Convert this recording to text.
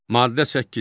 Maddə 8.